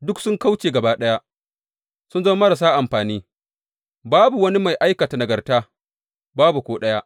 Duk sun kauce gaba ɗaya, sun zama marasa amfani; babu wani mai aikata nagarta, babu ko ɗaya.